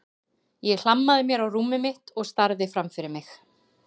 Ég hlammaði mér á rúmið mitt og starði fram fyrir mig.